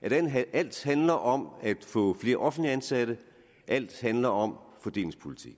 at alt handler om at få flere offentligt ansatte at alt handler om fordelingspolitik